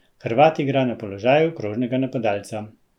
Hrvat igra na položaju krožnega napadalca.